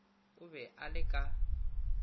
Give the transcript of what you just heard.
o be a le ka